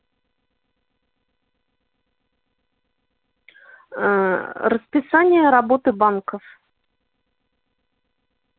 ээ расписание работы банков